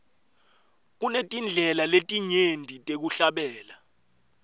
kunetindlela letinyenti tekuhlabela